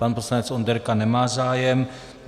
Pan poslanec Onderka nemá zájem.